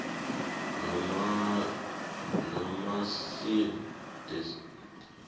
namasil the sea